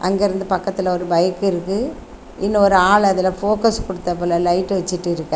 அங்கிருந்து பக்கத்துல ஒரு பைக் இருக்கு இன்னொரு ஆள் அதுல போக்கஸ் கொடுத்தாப்ல லைட் வச்சுட்டு இருக்காரு.